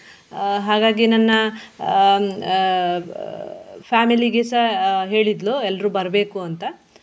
ಆಹ್ ಹಾಗಾಗಿ ನನ್ನ ಹ್ಮ್ ಆಹ್ family ಗೆಸ ಆಹ್ ಹೇಳಿದ್ಳು ಎಲ್ರು ಬರ್ಬೇಕು ಅಂತ.